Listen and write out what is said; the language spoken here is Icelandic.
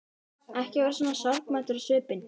Ekki vera svona sorgmæddur á svipinn.